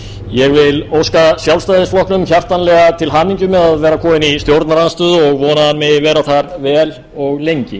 ég vil óska sjálfstæðisflokknum hjartanlega til hamingju með að vera kominn í stjórnarandstöðu og vona að hann megi vera þar vel og lengi